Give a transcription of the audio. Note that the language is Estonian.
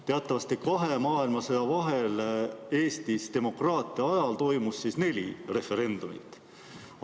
Teatavasti toimus kahe maailmasõja vahel Eestis, demokraatia ajal, neli referendumit.